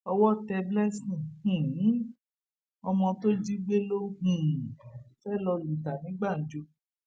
owó tẹ blessing um ọmọ tó jí gbé ló um fẹẹ lọọ lù ta ní gbàǹjo